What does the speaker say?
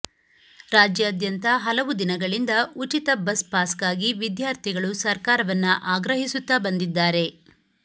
ರಾಜ್ಯಾದ್ಯಂತ ಹಲವು ದಿನಗಳಿಂದ ಉಚಿತ ಬಸ್ ಪಾಸ್ಗಾಗಿ ವಿದ್ಯಾರ್ಥಿಗಳು ಸರ್ಕಾರವನ್ನ ಆಗ್ರಹಿಸುತ್ತಾ ಬಂದಿದ್ದಾರೆ